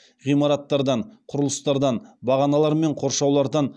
ғимараттардан құрылыстардан бағаналар мен қоршаулардан